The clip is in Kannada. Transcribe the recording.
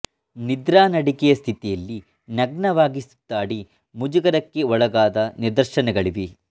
ನಿದ್ರಾ ನಡಿಗೆಯ ಸ್ಥಿತಿಯಲ್ಲಿ ನಗ್ನವಾಗಿ ಸುತ್ತಾಡಿ ಮುಜುಗರಕ್ಕೆ ಒಳಗಾದ ನಿದರ್ಶನಗಳಿವೆ